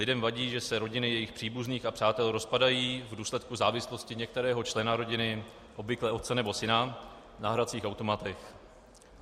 Lidem vadí, že se rodiny jejich příbuzných a přátel rozpadají v důsledku závislosti některého člena rodiny, obvykle otce nebo syna, na hracích automatech.